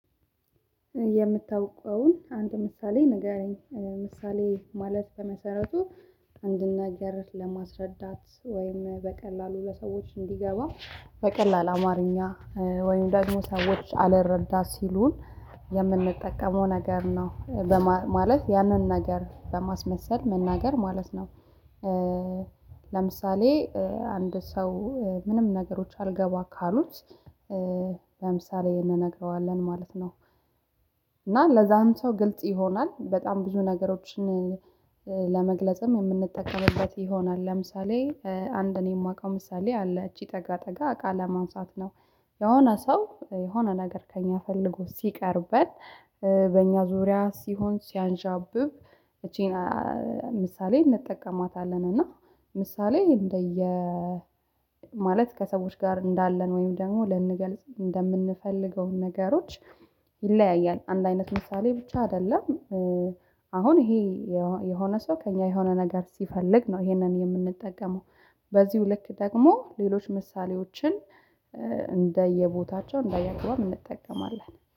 የምታውቀውን አንድ ምሳሌ ንገረኝ ምሳሌ ማለት በመሰረቱ አንድ ነገር ለማስረዳት ወይም በቀላሉ ለሰዎች እንዲገባ በቀላል አማርኛ ወይም ደግሞ ሰዎች አልረዳ ሲሉን የምንጠቀመው ነገር ነው ማለት ያንን ነገር በማስመሰል መናገር ማለት ነው። ለምሳሌ አንድ ሰው ምንም ነገሮች አልገባ ካሉት ለምሳሌ እንነግረዋለን ማለት ነው። ለዛ ሰው ግልጽ ይሆናል በጣም ብዙ ነገሮችን ለመግለጽም የምንጠቀምበት ይሆናል። ለምሳሌ አንድ እኔ የማውቀው ምሳሌ አለ ይቺ ጠጋ ጠጋ እቃ ለማንሳት ነው። የሆነ ሰው የሆነ ነገር ከእኛ ፈልጎ ሲቀርበን በእኛ ዙሪያ ሲሆን ሲያንዣብብ ይቺን ምሳሌ እንጠቀማታለን። እና ምሳሌ እንደየ ማለት ከሰዎች ጋር እንዳለን ወይም ደግሞ ልንገልጽ እንደምንፈልገው ነገሮች ይለያያል አንድ አይነት ምሳሌ ብቻ አይደለም። አሁን ይሄ የሆነ ሰው ከእኛ የሆነ ነገር ሲፈልግ ነው ይሄንን የምንጠቀመው በዚሁ ልክ ደግሞ ሌሎች ምሳሌዎችን እንደየቦታቸው እንደየአገባቡ እንጠቀማለን።